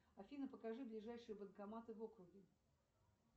афина покажи ближайшие банкоматы в округе